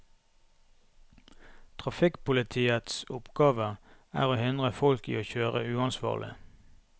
Trafikkpolitiets oppgave er å hindre folk i å kjøre uansvarlig.